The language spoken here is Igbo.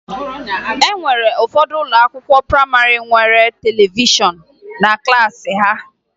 E nwere ụfọdụ ụlọakwụkwọ prayịmarị nwere televishọn na klaasị ha